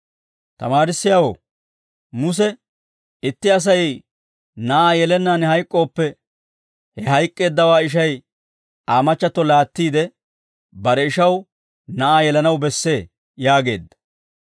«Tamaarissiyaawoo, Muse, ‹Itti Asay na'aa yelennaan hayk'k'ooppe, he hayk'k'eeddawaa ishay Aa machchatto laattiide, bare ishaw na'aa yelanaw bessee› yaageedda.